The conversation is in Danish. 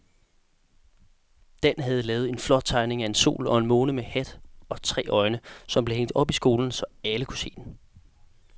Dan havde lavet en flot tegning af en sol og en måne med hat og tre øjne, som blev hængt op i skolen, så alle kunne se den.